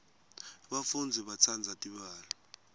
bafundzi batsandza tibalo